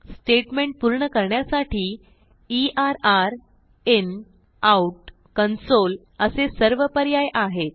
statement पूर्ण करण्यासाठी err in out console असे सर्व पर्याय आहेत